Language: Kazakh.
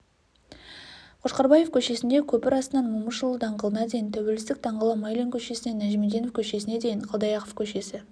қошқарбаев көшесіндегі көпір астынан момышұлы даңғылына дейін тәуелсіздік даңғылы майлин көшесінен нәжімеденов көшесіне дейін қалдаяқов көшесі